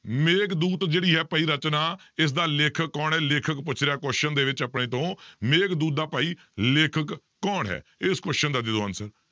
ਮੇਘਦੂਤ ਜਿਹੜੀ ਹੈ ਭਾਈ ਰਚਨਾ, ਇਸਦਾ ਲੇਖਕ ਕੌਣ ਹੈ ਲੇਖਕ ਪੁੱਛ ਰਿਹਾ question ਦੇ ਵਿੱਚ ਆਪਣੇ ਤੋਂ ਮੇਘਦੂਤ ਦਾ ਭਾਈ ਲੇਖਕ ਕੌਣ ਹੈ ਇਸ question ਦਾ ਦੇ ਦਿਓ answer